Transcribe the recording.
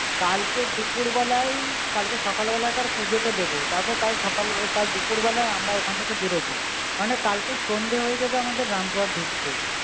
কালকে দুপুর বেলায়ই, কালকে সকাল বেলাকার পুজোটা দেব। তারপর কাল সকাল কাল দুপুর বেলায় আমরা ওখান থেকে বেরোব। মানে কালকে সন্ধে হয়ে যাবে রামপুরহাট ঢুকতে।